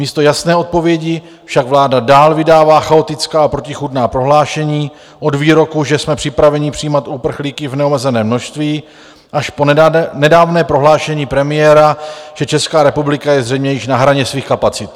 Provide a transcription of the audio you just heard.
Místo jasné odpovědi však vláda dál vydává chaotická a protichůdná prohlášení od výroku, že jsme připraveni přijímat uprchlíky v neomezeném množství, až po nedávné prohlášení premiéra, že Česká republika je zřejmě již na hraně svých kapacit.